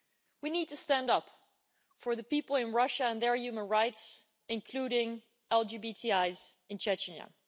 We need to stand up for the people in Russia and their human rights, including LGBTIs in Chechnya.